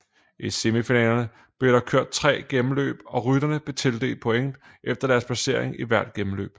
I semifinalerne blev der kørt tre gennemløb og rytterne blev tildelt points efter deres placering i hvert gennemløb